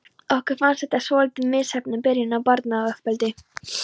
Okkur fannst þetta svolítið misheppnuð byrjun á barnauppeldi.